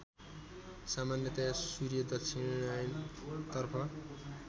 सामान्यतया सूर्य दक्षिणायनतर्फ